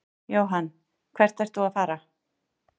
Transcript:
Jóhann: Hvert ert þú að fara?